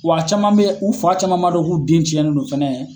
Wa a caman bɛ u fa caman m'a dɔn k'u den cɛnnen nɔ fɛnɛ